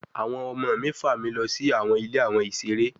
Awọn ọmọ mi fa mi lọ si awọn Ile awon isere